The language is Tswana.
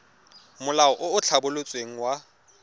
molao o o tlhabolotsweng wa